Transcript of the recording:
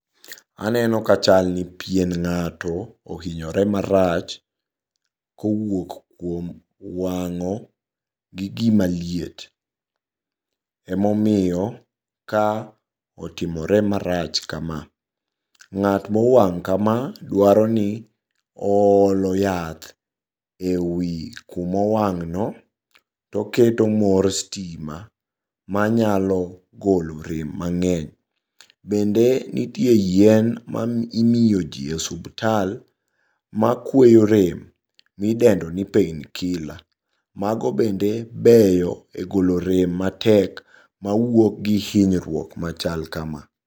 Aneno ka chalni pien ng'ato ohinyore marach kowuok kuom wang'o gi gima liet, emomiyo ka otimore marach kama. Ng'at mowang' kama dwaroni oolo yath e wi kumowang'no toketo mor stima manyalo golo rem mang'eny. Bende nitie yien ma imiyo jii e osubtal makweyo rem midendoni painkiller mago bende beyo e golo rem matek mawuok gi hinyruok machal kama.